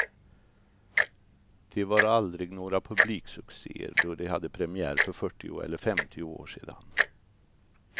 De var aldrig några publiksuccéer då de hade premiär för fyrtio eller femtio år sedan.